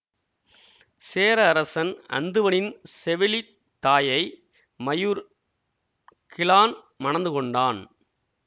சேர அரசன் அந்துவனின் செவிலி தாயை மயூர் கிழான் மணந்துகொண்டான்